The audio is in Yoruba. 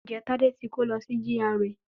Ǹjẹ́ Tádé ti kó lọ sí GRA